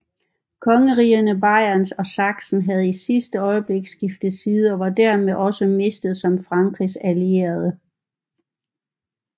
Kongerigerne Bayern og Sachsen havde i sidste øjeblik skiftet side og var dermed også mistet som Frankrigs allierede